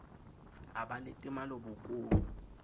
a ba le temalo bokong